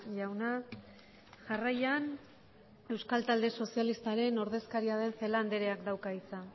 jauna jarraian euskal talde sozialistaren ordezkaria den celaá andreak dauka hitza